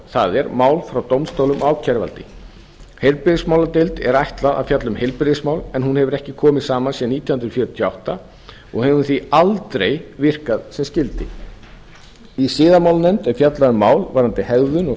það er mál frá dómstólum og ákæruvaldi heilbrigðismáladeild er ætlað að fjalla um heilbrigðismál en hún hefur ekki komið saman síðan árið nítján hundruð fjörutíu og átta og hefur hún því aldrei virkað sem skyldi í siðamálanefnd er fjallað um mál varðandi hegðun eða